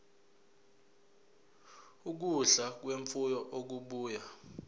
ukudla kwemfuyo okubuya